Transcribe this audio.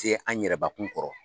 Tɛ an yɛrɛbakun kɔrɔ